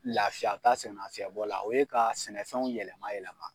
Laafiya ka sɛ nafiyɛn bɔ la o ye ka sɛnɛfɛnw yɛlɛma yɛlɛma